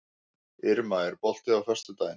Irma, er bolti á föstudaginn?